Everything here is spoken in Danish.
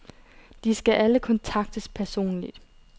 De skal alle kontaktes personligt.